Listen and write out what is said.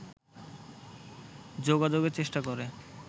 যোগাযোগের চেষ্টা করে